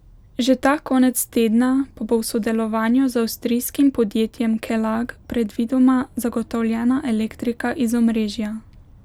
Že ta konec tedna pa bo v sodelovanju z avstrijskim podjetjem Kelag predvidoma zagotovljena elektrika iz omrežja.